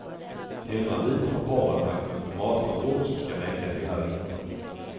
Hemmavid har paret lagt upp matförråd som ska räcka hela vintern.